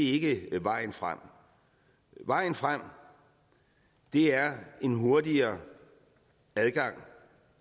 ikke er vejen frem vejen frem er en hurtigere adgang